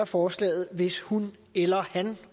forslaget hvis hun eller han